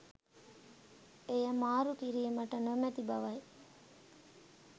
එය මාරු කිරීමට නොමැති බවයි